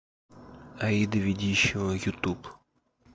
аида ведищева ютуб